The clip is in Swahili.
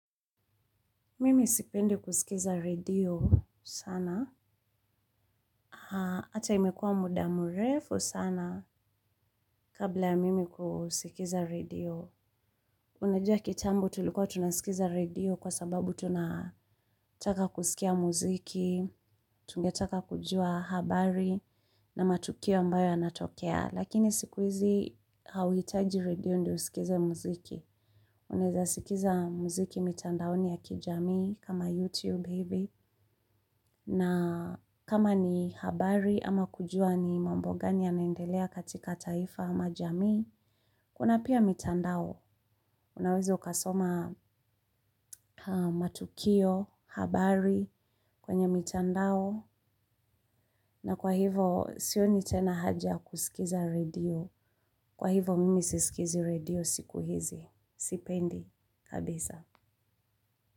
Mimi sipendi kusikiza radio sana. Hata imekuwa muda murefu sana kabla ya mimi kusikiza radio. Unajua kitambo tulikuwa tunasikiza radio kwa sababu tunataka kusikia muziki, tungetaka kujua habari na matukio ambayo yanatokea. Lakini sikuhizi hauhitaji radio ndio usikize muziki. Unaeza sikiza muziki mitandaoni ya kijamii kama YouTube hivi. Na kama ni habari ama kujua ni mambo gani yanaendelea katika taifa ama jamii, kuna pia mitandao. Unaweza ukasoma matukio, habari kwenye mitandao. Na kwa hivo sioni tena haja ya kusikiza radio. Kwa hivo mimi sisikizi radio siku hizi. Sipendi. Kabisa.